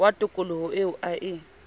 wa tokoloho eo a e